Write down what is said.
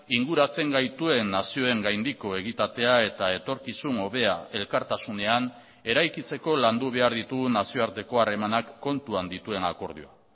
inguratzen gaituen nazioen gaindiko egitatea eta etorkizun hobea elkartasunean eraikitzeko landu behar ditugun nazioarteko harremanak kontuan dituen akordioa